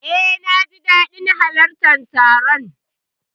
Eh, naji dadin halartar taron.